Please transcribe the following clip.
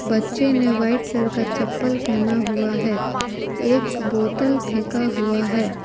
बच्चे ने white colour का चप्पल पहना हुआ है एक बोतल फेंका हुआ है।